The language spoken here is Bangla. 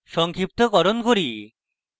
সংক্ষিপ্তকরণ করি